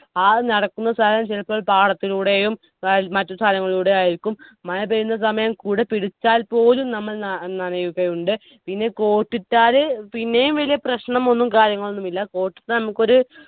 ആ നടക്കുന്ന സ്ഥലം ചിലപ്പോൾ പാടത്തിലൂടെയും മറ്റു സ്ഥലങ്ങളിലൂടേയും ആയിരിക്കും മഴ പെയ്യുന്ന സമയം കുട പിടിച്ചാൽ പോലും നമ്മൾ ന നനയുകയുണ്ട് പിന്നെ coat ഇട്ടാല് പിന്നെയും വലിയ പ്രശ്നമൊന്നും കാര്യങ്ങളൊന്നുമില്ല coat ഇട്ട നമ്മുക്കൊരു